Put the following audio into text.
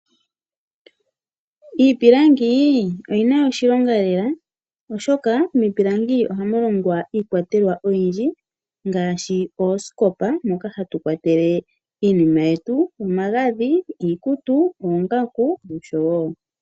Iipilangi oyi na oshilonga lela oshoka miipilangi ohamu longwa iikwatelwa oyindji ngaashi oosikopa moka hatu kwatele iinima yetu, omagadhi, iikutu, oongaku noshowo.